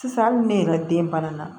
Sisan hali ne yɛrɛ ka den banana